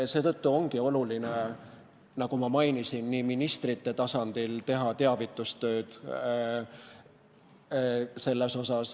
Seetõttu ongi oluline, nagu ma mainisin, teha ministrite tasandil teavitustööd.